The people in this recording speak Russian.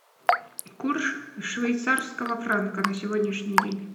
курс швейцарского франка на сегодняшний день